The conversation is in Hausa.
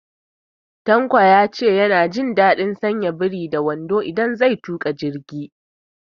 Tanko ya ce ya na jin daɗin sanya biri da wando idan zai tuƙa jirgi